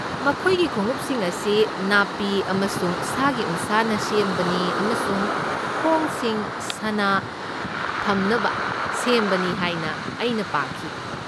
ꯃꯈꯣꯏꯒꯤ ꯈꯣꯡꯎꯞꯁꯤꯡ ꯑꯁꯤ ꯅꯥꯄꯤ ꯑꯃꯁꯨꯡ ꯁꯥꯒꯤ ꯎꯟꯁꯥꯅ ꯁꯦꯝꯕꯅꯤ ꯑꯃꯁꯨꯡ ꯈꯣꯡꯁꯤꯡ ꯁꯥꯅ ꯊꯝꯅꯕ ꯁꯦꯝꯕꯅꯤ ꯍꯥꯏꯅ ꯑꯩꯅ ꯄꯥꯈꯤ꯫